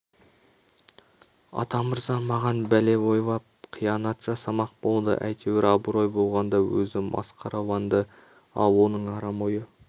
атамырза маған бәле ойлап қиянат жасамақ болды әйтеуір абырой болғанда өзі масқараланды ал оның арам ойы